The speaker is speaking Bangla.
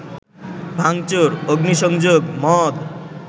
ভাঙচুর, অগ্নিসংযোগ, মদ